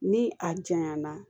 Ni a janya na